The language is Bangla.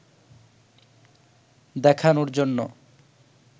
দেখানোর জন্য